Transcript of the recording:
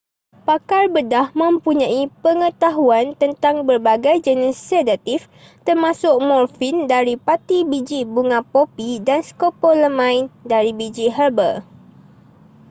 pakar bedah mempunyai pengetahuan tentang berbagai jenis sedatif termasuk morfin dari pati biji bunga popi dan scopolamine dari biji herba